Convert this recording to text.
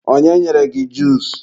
onye nyere gị juusu?